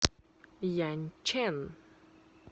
яньчэн